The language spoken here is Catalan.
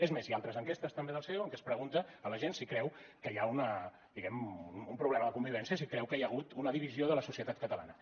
és més hi ha altres enquestes també del ceo en què es pregunta a la gent si creu que hi ha diguem ne un problema de convivència si creu que hi ha hagut una divisió de la societat catalana